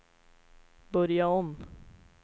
börja om